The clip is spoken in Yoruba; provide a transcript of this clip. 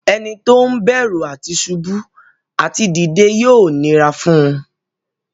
Ẹni tó ń bẹ̀rù àti ṣubú àti dìde yóò nira fún un.